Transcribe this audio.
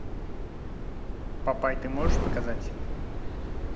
папай ты можешь показать